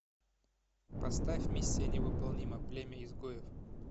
поставь миссия невыполнима племя изгоев